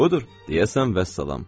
Budur, deyəsən vəssalam.